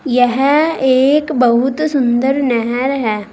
यह एक बहुत सुंदर नहर है।